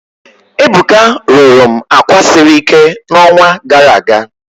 Ebuka rụrụ m àkwà siri ike n'ọnwa gara aga